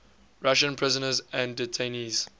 russian prisoners and detainees